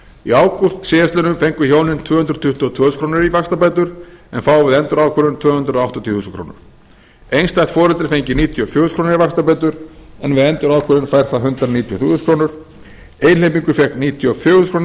í ágúst síðastliðinn fengu hjónin tvö hundruð tuttugu og tvö þúsund krónur í vaxtabætur en fá við endurákvörðun tvö hundruð áttatíu þúsund krónur einstætt foreldri fengi níutíu og fjögur þúsund en við endurákvörðun fær það hundrað níutíu og þrjú þúsund krónur einhleypingur fékk níutíu og fjögur þúsund krónur í